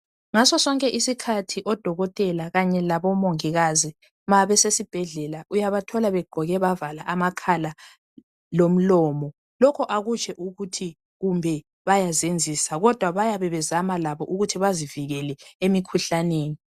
Ngaso sonke isikhathi odokotela khanye labomongikazi ma besesibhedlela uyabathola begqoke bavala amakhala lomlomo. Lokho akutsho ukuthi kumbe bayazenzisa kodwa bayabe bezama labo ukuthi bazivikele emikhuhlaneni.